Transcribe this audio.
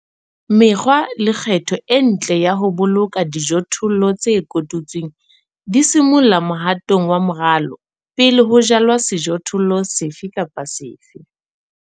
Mekgwa le kgetho e ntle ya ho boloka dijothollo tse kotutsweng di simolla mohatong wa moralo pele ho jalwa sejothollo sefe kapa sefe.